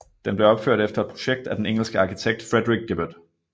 Den blev opført efter et projekt af den engelske arkitekt Frederick Gibberd